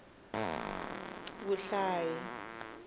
vuhlayi